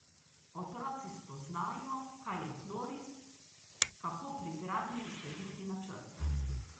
Otroci spoznajo, kaj je tloris, kako pri gradnji slediti načrtu.